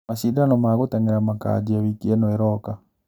Macindano ma gũtengera makanjia wiki ĩno ĩroka.